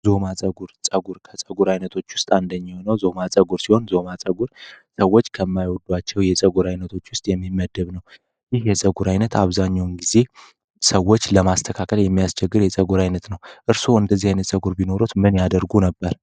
ዙማ ፀጉር ከፀጉር አይነቶች ውስጥ አንደኛው ዞማ ፀጉር ሲሆን ዞማ ጸጉር ሰዎች ከማይወዱአቸው የፀጉር አይነቶች የሚመደብ ነው ይህ ፀጉር አይነት አብዛኛው ጊዜ ሰዎች ለማስተካከል የሚያስቸግር የፀጉር አይነት ነው እርሶ እንደዚህ አይነት ጸጉር ቢኖርዎት ምን ያደርጉ ነበር?